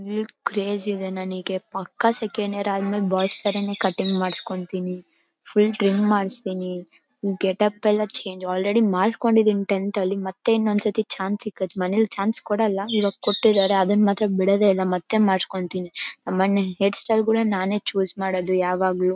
Hire craze ಇದೆ ನಂಗೆ ಪಕ್ಕ ಸೆಕೆಂಡ್ ಇಯರ್ ಆದ್ಮೇಲೆ ಬಾಯ್ಸ್ ತರಾನೇ ಕಟ್ಟಿಂಗ್ ಮಾಡಿಸ್ಕೊಂತೀನಿ ಫುಲ್ ಟ್ರಿಮ್ ಮಾಡಿಸ್ತಿನಿ ಗೆಟ್ ಅಪ್ ಎಲ್ಲಾ ಚೇಂಜ್ ಆಲ್ರೆಡಿ ಮಾಡ್ಕೊಂಡಿದೀನಿ ಟೆಂತ್ ಅಲ್ಲಿ ಮತ್ತೆ ಇನ್ನೊಂದ್ ಸಲ ಚಾನ್ಸ್ ಸಿಕ್ಕತ್ತೆ ಮನೇಲ್ ಚಾನ್ಸ್ ಕೊಡಲ್ಲ ಮತ್ತೆ ಚಾನ್ಸ್ ಕೊಟ್ಟಿದಾರೆ ಅದನ್ ಮಾತ್ರ ಬಿಡೋದಿಲ್ಲ ಮತ್ತೆ ಮಾಡ್ಸಕೋತೀನಿ ನಮ್ ಮನೇಲಿ ಹೈರ್ ಸ್ಟಸ್ಟೈಲೆ ಗಳನ್ನಾ ನಾನೆ ಚೂಸ್ ಮಾಡೋದು ಯಾವಾಗ್ಲೂ .